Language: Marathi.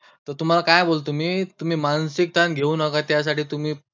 तुम्हांला काय बोलतो मी, तुम्ही मानसिक ताण घेऊ नका, त्यासाठी तुम्ही.